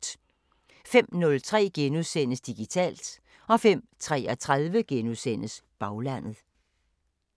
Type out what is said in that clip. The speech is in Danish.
05:03: Digitalt * 05:33: Baglandet *